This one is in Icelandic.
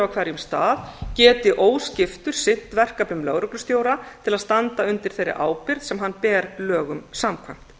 hverjum stað geti óskiptur sinnt verkefnum lögreglustjóra til að standa undir þeirri ábyrgð sem hann ber lögum samkvæmt